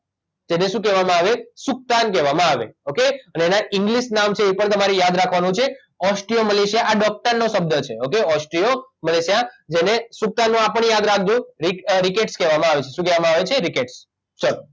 એને શું કહેવામાં આવે સૂકતાન કહેવામાં આવે ઓકે એના ઇંગ્લીશ નામ છે એ પણ તમારે યાદ રાખવાનું છે ઓસ્ટ્રિયો મલેશિયા આ ડૉક્ટરનો શબ્દ છે ઓકે ઓસ્ટ્રિયો મલેશિયા જેને સૂકતાન નો આ પણ યાદ રાખજો રીકેટ્સ કહેવામાં આવે છે શું કહેવામાં આવે છે રીકેટ ચલો